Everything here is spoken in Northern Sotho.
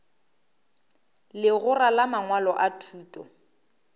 legora la mangwalo a thuto